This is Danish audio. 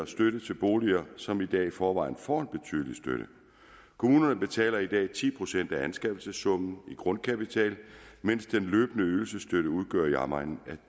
støtte til boliger som i dag i forvejen får en betydelig støtte kommunerne betaler i dag ti procent af anskaffelsessummen i grundkapital mens den løbende ydelsesstøtte udgør i omegnen af